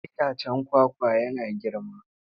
Itacen kwakwa yana girma.